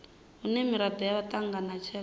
hune miraḓo ya ṱanganya tshelede